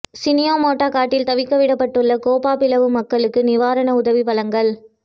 சீனியாமோட்டை காட்டில் தவிக்க விடப்பட்டுள்ள கேப்பாபிலவு மக்களுக்கு நிவராண உதவி வழங்கல்